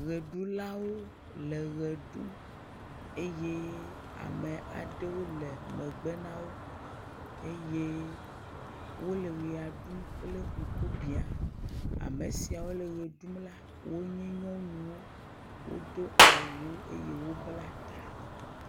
Ʋeɖulawo le ʋe ɖum, eye ame aɖewo le megbe na wo eye wole ʋea ɖum kple ŋkubiã, ame siawo le ʋe ɖum las wonye nyɔnuwo wodo awu eye wobla ta